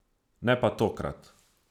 Ne pa tokrat.